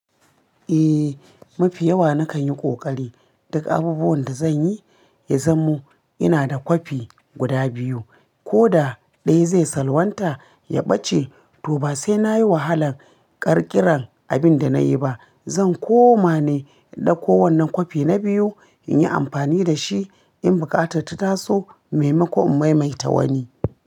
Eh, mafi yawa nakan yi ƙoƙari duk abubuwan da zan yi, ya zamo ina da kwafi guda biyu. Ko da ɗaya zai salwanta ya ɓace, to ba sai nayi wahalan ƙirƙiran abin da nayi ba. Zan koma ne ɗauko wannan kwafi na biyu in yi amfani da shi in buƙatar ta taso, maimakon in maimaita wani.